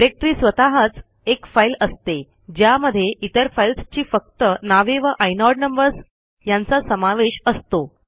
directory स्वतःच एक file असते ज्यामध्ये इतर फाईल्सची फक्त नावे व आयनोड नंबर्स यांचा समावेश असतो